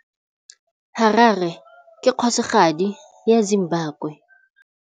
Harare ke kgosigadi ya Zimbabwe.